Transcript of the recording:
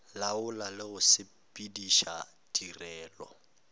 laola le go sepediša tirelo